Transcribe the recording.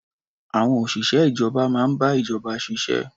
Àwon òṣìṣẹ́ ìjọba máa ń bá ìjọba ṣiṣẹ́.